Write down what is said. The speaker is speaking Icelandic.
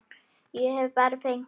Ég er bara feginn.